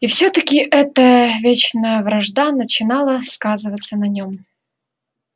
и все таки эта вечная вражда начинала сказываться на нем